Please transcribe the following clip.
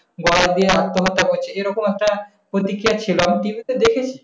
কয়েক দিন আজ তোমাকে বলছে যে রকম একটা বলত কি চাচ্ছিলাম? TV তে দেখেছি।